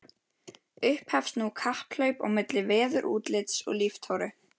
Upphefst nú kapphlaup á milli veðurútlits og líftóru.